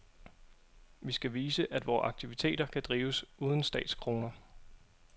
Vi skal vise, at vore aktiviteter kan drives uden statskroner.